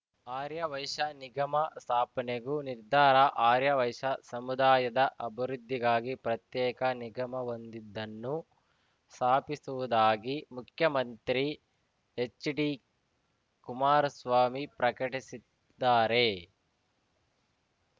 ಆರ್ಯವೈಶ್ಯ ನಿಗಮ ಸ್ಥಾಪನೆಗೂ ನಿರ್ಧಾರ ಆರ್ಯವೈಶ್ಯ ಸಮುದಾಯದ ಅಬುರುದ್ಧಿಗಾಗಿ ಪ್ರತ್ಯೇಕ ನಿಗಮವೊಂದಿದ್ದನ್ನು ಸಾಪಿಸುವುದಾಗಿ ಮುಖ್ಯಮಂತ್ರಿ ಎಚ್‌ಡಿಕುಮಾರಸ್ವಾಮಿ ಪ್ರಕಟಿಸಿದ್ದಾರೆ